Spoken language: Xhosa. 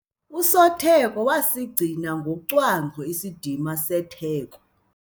Usotheko wasigcina ngocwangco isidima setheko.